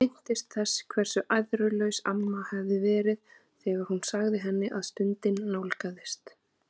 Hún minntist þess hversu æðrulaus amma hafði verið þegar hún sagði henni að stundin nálgaðist.